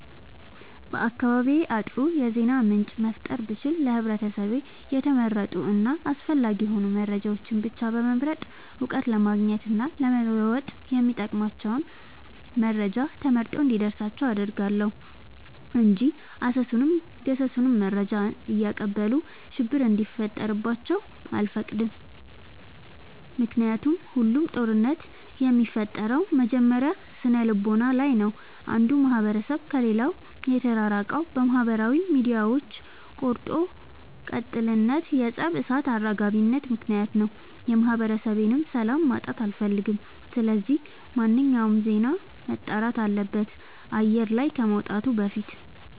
በአካባቢዬ አጥሩ የዜና ምንጭ መፍጠር ብችል ለህብረተሰቤ የተመረጡ እና አስፈላጊ የሆኑ መረጃዎችን ብቻ በመምረጥ እውቀት ለማግኘት እና ለመወጥ የሚጠቅሟቸውን መረጃ ተመርጦ እንዲደርሳቸው አደርጋለሁ። እንጂ አሰሱንም ገሰሱንም መረጃ እያቀበሉ ሽብር እንዲፈጥሩባቸው አልፈቅድም ምክንያቱም ሁሉም ጦርነት የሚፈጠረው መጀመሪያ ስነልቦና ላይ ነው። አንዱ ማህበረሰብ ከሌላው የተራራቀው በማህበራዊ ሚዲያዎች ቆርጦ ቀጥልነት የፀብ እሳት አራጋቢነት ምክንያት ነው። የማህበረሰቤን ሰላም ማጣት አልፈልግም ስለዚህ ማንኛውም ዜና መጣራት አለበት አየር ላይ ከመውጣቱ በፊት።